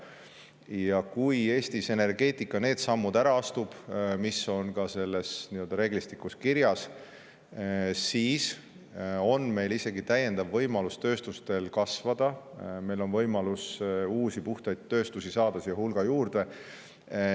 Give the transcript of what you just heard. Ja kui Eesti energeetikas need sammud, mis on ka selles nii-öelda reeglistikus kirjas, ära astub, siis on meie tööstustel isegi täiendav võimalus kasvada ja meil on võimalus saada siia juurde hulga uusi puhtaid tööstusi.